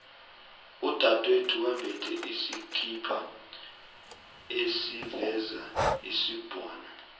udadwethu wembethe isikhipa esiveza isibhono